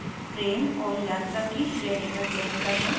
train और यात्रा की श्रेणी का चयन करना